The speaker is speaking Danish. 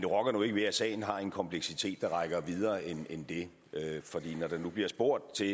rokker nu ikke ved at sagen har en kompleksitet der rækker videre end det for når der nu bliver spurgt til